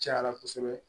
Cayara kosɛbɛ